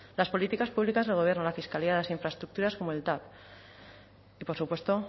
las políticas públicas del gobierno la fiscalidad las infraestructuras como el tav y por supuesto